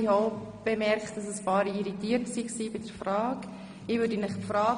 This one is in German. Ich habe auch bemerkt, dass einige von Ihnen bei der Frage irritiert reagiert haben.